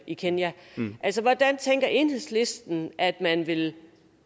i kenya hvordan tænker enhedslisten at man vil